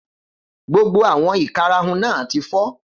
Gbogbo àwọn ìkarahun náà ti fọ́.